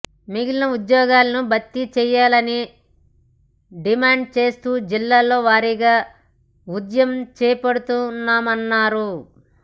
మిగిలిన ఉద్యోగాలను భర్తిచేయాలని డిమాండ్చేస్తూ జిల్లాల వారీగా ఉద్యమం చేపడుతామన్నారు